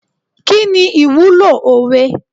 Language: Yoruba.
Kini ìwúlò òwe?